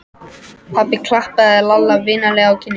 Pabbi klappaði Lalla vingjarnlega á kinnina.